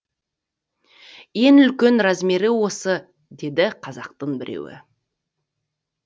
ең үлкен размері осы деді қазақтың біреуі